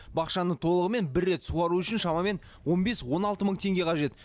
бақшаны толығымен бір рет суару үшін шамамен он бес он алты мың теңге қажет